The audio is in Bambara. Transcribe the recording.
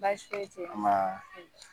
Baasi foyi tɛ ye ambaa